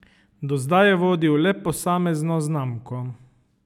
Do zdaj je vodil le posamezno znamko.